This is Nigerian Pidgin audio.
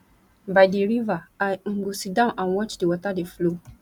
by di river i um go sit down and watch di water dey flow